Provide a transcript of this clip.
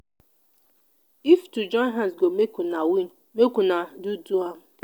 if to join hands go make una win make una do do am.